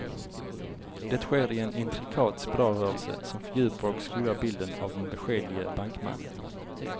Det sker i en intrikat spiralrörelse som fördjupar och skuggar bilden av den beskedlige bankmannen.